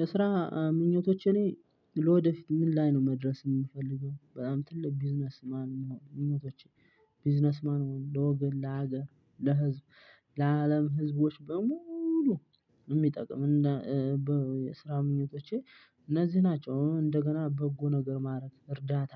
የስራ ምኞቶች እኔ ወደፊት ምን ላይ ነው መድረስ የምፈልገው በጣም ትልቅ ቢዝነስ። ማንነው እንሁን እኔ ቢዝነስ ማን እንሁን ለወገን ለሀገር ለህዝብ ለአለም ህዝቦች በሙሉ። የሚጠቅም የስራ ምኞቶቼ እነዚህ ናቸው። እንደገና በጎ ነገር ማድረግ እርዳታ